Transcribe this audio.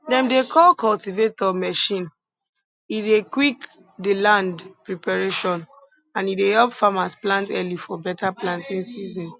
dem dey call cultivator machine e dey quick di land preparation and e dey help farmers plant early for better planting season